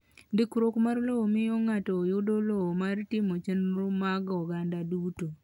Ndikruok mar lowo miyo ng’ato yudo lowo mar timo chenro mag oganda duto.